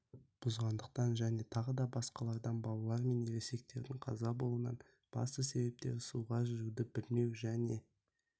бұзғандықтан және тағы басқалардан балалар мен ересектердің қаза болуының басты себептері суға жүзуді білмеу және